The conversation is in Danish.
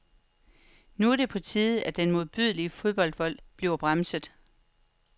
Nu er det på tide, at den modbydelige fodboldvold bliver bremset.